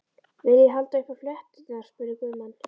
Viljiði halda upp á flétturnar, spurði Guðmann.